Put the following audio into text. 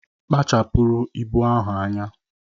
Kpachapụrụ ibu ahụ anya!